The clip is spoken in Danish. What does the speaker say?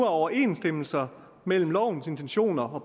overensstemmelse mellem lovens intention og